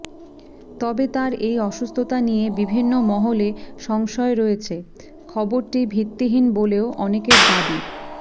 তবে তাঁর এই অসুস্থতা নিয়ে বিভিন্ন মহলে সংশয় রয়েছে খবরটি ভিত্তিহীন বলেও অনেকের দাবি